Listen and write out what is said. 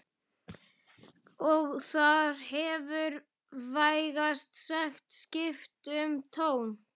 Og þar hefur vægast sagt skipt um tón